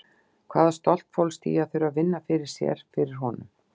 Hvaða stolt fólst í því að þurfa að vinna fyrir sér, fyrir honum?